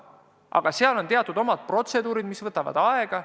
Aga seal on teatud omad protseduurid, mis võtavad aega.